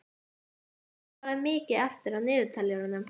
Hallgeir, hvað er mikið eftir af niðurteljaranum?